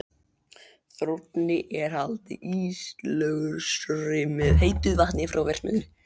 Þrónni er haldið íslausri með heitu vatni frá verksmiðjunni.